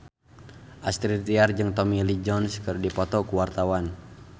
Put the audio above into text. Astrid Tiar jeung Tommy Lee Jones keur dipoto ku wartawan